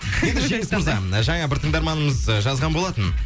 енді жеңіс мырза жаңа бір тыңдарманымыз жазған болатын